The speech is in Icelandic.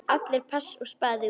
Allir pass og spaði út.